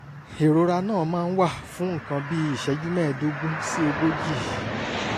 ìrora náà máa ń wà fún nǹkan bí ìṣẹ́jú mẹ́ẹ̀ẹ́dógún sí ogójì